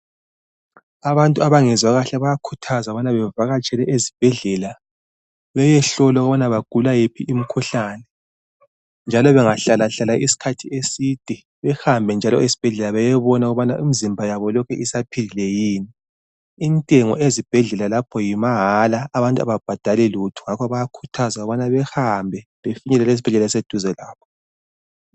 Abantu abangezwa kahle bayakhuthazwa ukubana bevakatshela ezibhedlela beyehlolwa ukubana bagula yiphi imkhuhlane .Njalo bengahlalahlala iskhath eside behambe njalo esbhedlela beyebona ukubana imzimba yabo lokhe isaphilile yini. Intengo ezibhedlela lapho yimahala abantu ababhadali lutho . Ngakho bayakhuthazwa ukubana behambe befinyelele ezibhedlela eziseduze labo .